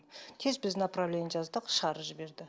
тез біз направление жазды да шығарып жіберді